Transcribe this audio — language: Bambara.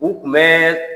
U kun bɛ